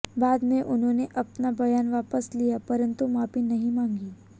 बाद में उन्होंने अपना बयान वापस लिया परंतु माफी नहीं मांगी